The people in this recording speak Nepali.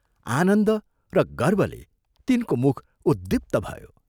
आनन्द र गर्वले तिनको मुख उद्दीप्त भयो।